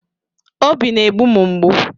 Obi na-egbu m mgbu